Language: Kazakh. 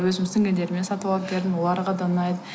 өзім сіңілілеріме сатып алып бердім оларға да ұнайды